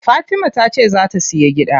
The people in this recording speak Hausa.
Fatima tace zaa ta siya gida.